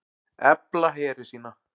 Efla heri sína